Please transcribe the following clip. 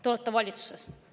Te olete valitsuses.